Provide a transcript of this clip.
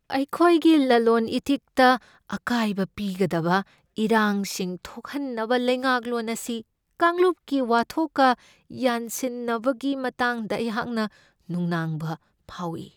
ꯑꯩꯈꯣꯏꯒꯤ ꯂꯂꯣꯟ ꯏꯇꯤꯛꯇ ꯑꯀꯥꯏꯕ ꯄꯤꯒꯗꯕ ꯏꯔꯥꯡꯁꯤꯡ ꯊꯣꯛꯍꯟꯅꯕ ꯂꯩꯉꯥꯛꯂꯣꯟ ꯑꯁꯤ ꯀꯥꯡꯂꯨꯞꯀꯤ ꯋꯥꯊꯣꯛꯀ ꯌꯥꯟꯁꯤꯟꯅꯕꯒꯤ ꯃꯇꯥꯡꯗ ꯑꯩꯍꯥꯛꯅ ꯅꯨꯡꯅꯥꯡꯕ ꯐꯥꯎꯢ꯫